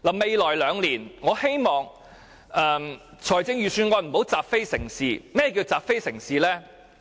未來兩年，我希望預算案不要習非成是。甚麼是習非成是？